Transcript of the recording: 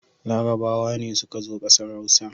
Larabawa ne suka zo ƙasar Hausa.